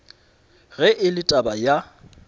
ge e le taba ya